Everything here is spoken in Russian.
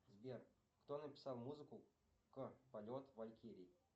сбер кто написал музыку к полет валькирии